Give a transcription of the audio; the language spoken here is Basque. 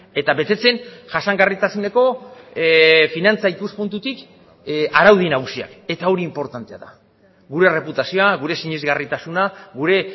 eta betetzen jasangarritasuneko finantza ikuspuntutik araudi nagusiak eta hori inportantea da gure erreputazioa gure sinesgarritasuna gure